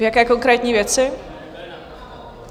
V jaké konkrétní věci?